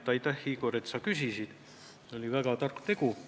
Aitäh, Igor, et sa küsisid: see oli väga tark tegu.